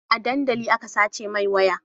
A dandali aka sace mai waya